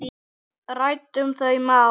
Ræddum þau mál.